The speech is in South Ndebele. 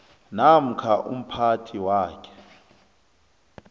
namkha umphathi wakhe